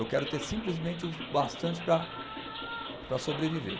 Eu quero ter simplesmente o bastante para para sobreviver.